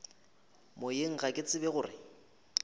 moyeng ga ke tsebe gore